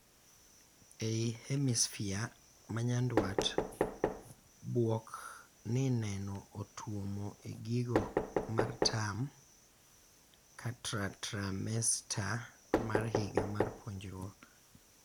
Ei hemisphere ma nyandwat , bwok ni nene otwomo e giko mar term katra trimester mar higa mar puonjruok.